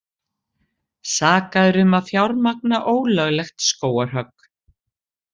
Sakaðir um að fjármagna ólöglegt skógarhögg